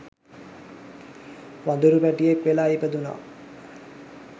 වඳුරු පැටියෙක් වෙලා ඉපදුණා.